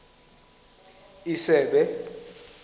isebe